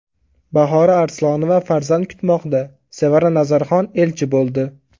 Bahora Arslonova farzand kutmoqda, Sevara Nazarxon elchi bo‘ldi.